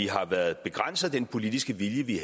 har været begrænset i den politiske vilje vi